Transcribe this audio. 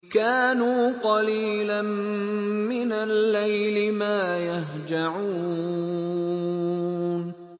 كَانُوا قَلِيلًا مِّنَ اللَّيْلِ مَا يَهْجَعُونَ